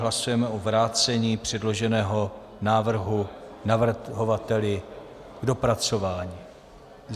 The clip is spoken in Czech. Hlasujeme o vrácení předloženého návrhu navrhovateli k dopracování.